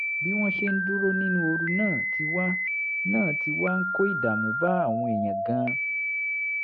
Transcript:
bí wọ́n ṣe ń dúró nínú ooru náà ti wá náà ti wá ń kó ìdààmú bá àwọn èèyàn gan-an